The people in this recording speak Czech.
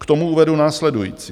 K tomu uvedu následující.